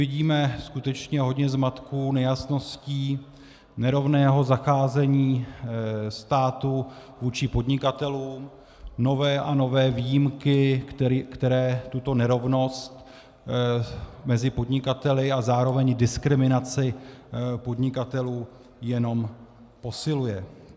Vidíme skutečně hodně zmatků, nejasností, nerovného zacházení státu vůči podnikatelům, nové a nové výjimky, které tuto nerovnost mezi podnikateli a zároveň diskriminaci podnikatelů jenom posiluje.